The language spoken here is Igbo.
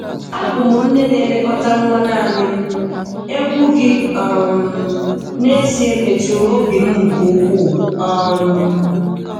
Abum nne na elekota nwa naani m,egwu gi um n'ezie metụrụ obi m nke ụkwuu. um